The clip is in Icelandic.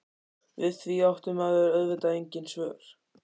Við því átti maður auðvitað engin svör.